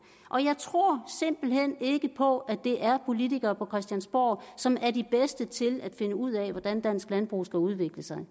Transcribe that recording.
og jeg tror simpelt hen ikke på at det er politikerne på christiansborg som er de bedste til at finde ud af hvordan dansk landbrug skal udvikle sig